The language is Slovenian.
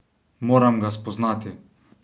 Moram ga spoznati!